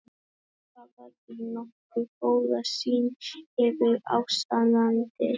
Þeir hafa því nokkuð góða sýn yfir ástandið.